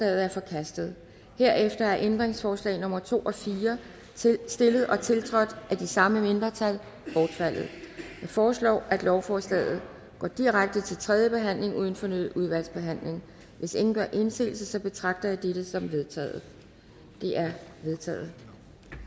er forkastet herefter er ændringsforslag nummer to og fire stillet og tiltrådt af de samme mindretal bortfaldet jeg foreslår at lovforslaget går direkte til tredje behandling uden fornyet udvalgsbehandling hvis ingen gør indsigelse betragter jeg dette som vedtaget vedtaget